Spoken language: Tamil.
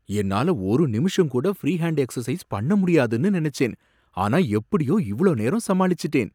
என்னால ஒரு நிமிஷம் கூட ஃப்ரீ ஹேன்ட் எக்சர்சைஸ் பண்ண முடியாதுனு நினைச்சேன். ஆனா எப்படியோ இவ்ளோ நேரம் சமாளிச்சுட்டேன்.